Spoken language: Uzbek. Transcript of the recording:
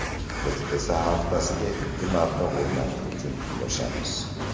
Biz esa haftasiga ikki marta o‘ynash uchun kurashamiz.